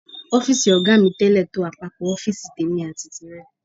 Ọ́fíìsì ọ̀gá mi tẹ́lẹ̀ tó àpapọ̀ ọ́fíìsì tèmi àti tìrẹ.